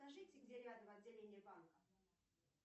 скажите где рядом отделение банка